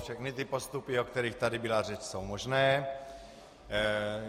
Všechny ty postupy, o kterých tady byla řeč, jsou možné.